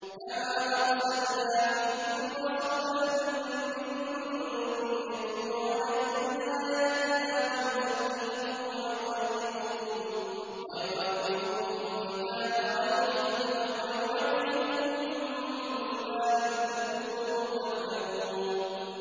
كَمَا أَرْسَلْنَا فِيكُمْ رَسُولًا مِّنكُمْ يَتْلُو عَلَيْكُمْ آيَاتِنَا وَيُزَكِّيكُمْ وَيُعَلِّمُكُمُ الْكِتَابَ وَالْحِكْمَةَ وَيُعَلِّمُكُم مَّا لَمْ تَكُونُوا تَعْلَمُونَ